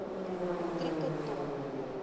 metrieke ton